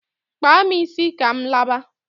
Kpaa m isi ka m laba!